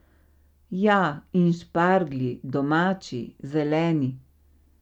Ja, in šparglji, domači, zeleni!